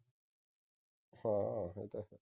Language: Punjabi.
ਹਾਂ ਇਹ ਤੇ ਹੈ